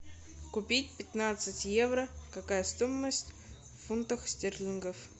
купить пятнадцать евро какая стоимость в фунтах стерлингах